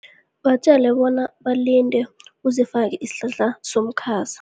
Batjele bona balinde, uzifake isihlahla somkhaza.